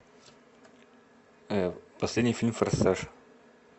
последний фильм форсаж